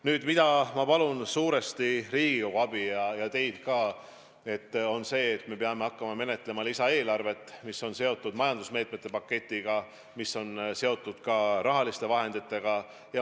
Nüüd, milleks ma palun suuresti Riigikogu abi, on see, et me peame hakkama menetlema lisaeelarvet, mis on seotud majandusmeetmete paketiga ja seejuures ka rahaliste vahenditega.